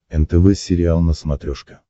нтв сериал на смотрешке